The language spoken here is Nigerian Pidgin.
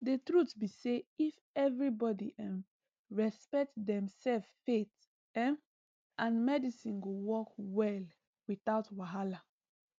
the truth be say if everybody um respect demself faith um and medicine go work well without wahala